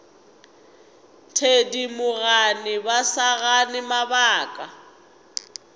thedimogane ba sa gane mabaka